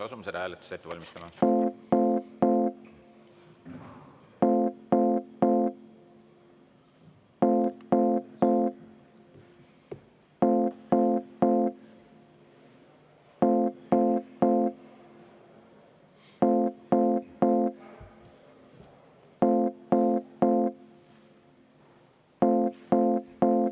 Asume seda hääletust ette valmistama.